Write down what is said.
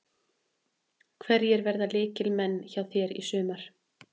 Hverjir verða lykilmenn hjá þér í sumar?